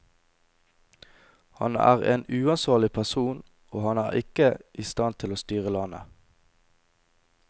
Han er en uansvarlig person, og han er ikke i stand til å styre landet.